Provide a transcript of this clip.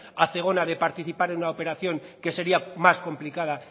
a zegona de participar en una operación que sería más complicada